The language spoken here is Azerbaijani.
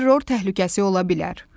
Terror təhlükəsi ola bilər.